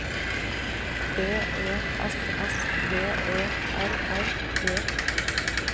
D E S S V E R R E